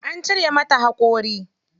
An cire mata haƙori.